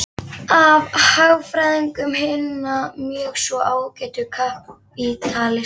Einn af hagfræðingum hinna mjög svo ágætu kapítalista